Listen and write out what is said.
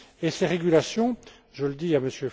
Et ces régulations, je le dis